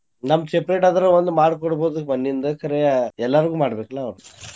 ನಮ್ದ್ separate ಆದ್ರ ಒಂದ್ ಮಾಡಿ ಕೊಡ್ಬಹುದ್ರಿಪಾ ನಿಂದ ಕರೆ ಎಲ್ಲಾರ್ಗು ಮಾಡ್ಬೇಕಲಾ ಅವ್ರ .